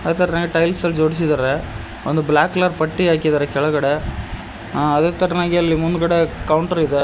ಅದೇ ತರಾನೇ ಟೈಲ್ಸ್ ಅಲ್ಲಿ ಜೋಡಿಸಿದ್ದಾರೆ ಒಂದು ಬ್ಲಾಕ್ ಕಲರ್ ಪಟ್ಟಿ ಹಾಕಿದ್ದಾರೆ ಕೆಳಗಡೆ ಅ ಅದೇ ತರಾನೇ ಮುಂದುಗಡೆ ಕೌಂಟರ್ ಇದೆ.